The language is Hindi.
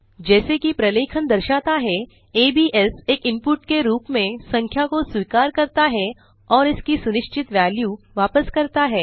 जैसा कि प्रलेखन दर्शाता है एबीएस एक इनपुट के रूप में संख्या को स्वीकार करता है और इसकी सुनिश्चित वेल्यू वापस करता है